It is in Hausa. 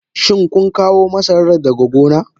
Shin kun kawo masarar daga gona?